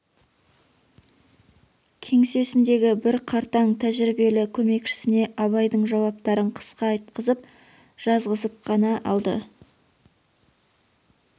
кеңсесіндегі бір қартаң тәжірибелі көмекшісіне абайдың жауаптарын қысқа айтқызып жазғызып қана алды